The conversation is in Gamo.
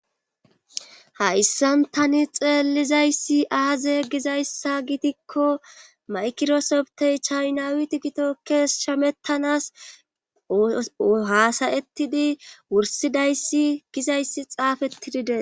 hayssan tani xeelizayssi aaze gizayssa gitikko maykirosoptey chaynawiti gitokkees shamettanas hasayettidi wursidayssi gizayssi xaafetidide